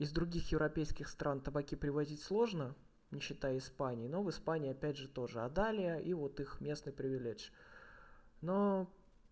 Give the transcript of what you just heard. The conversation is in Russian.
из других европейских стран табаки привозить сложно не считая испании но в испании опять же тоже отдали и вот их местной привеледж но